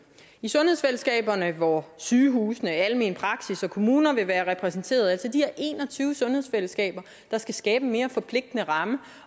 i sundhedsfællesskaberne hvor sygehusene almen praksis og kommuner vil være repræsenteret altså de her en og tyve sundhedsfællesskaber der skal skabe en mere forpligtende ramme